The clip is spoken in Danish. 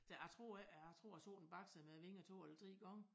Der jeg tror ikke jeg tror jeg så den bakse med vingerne 2 eller 3 gange